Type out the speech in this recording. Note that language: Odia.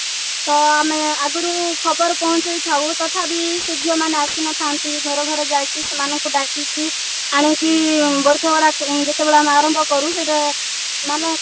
ତ ଆମେ ଆଗରୁ ଖବର ପହଞ୍ଚେଇଥାଉ ତଥାପି ସେ ଝିଅମାନେ ଆସିନଥାନ୍ତି ଘର ଘର ଯାଇକି ସେମାନଙ୍କୁ ଡାକିକି ଆଣିକି ଯେତେବେଳେ ଆମେ ଆରମ୍ଭ କରୁ ସେଇଟା ମାନେ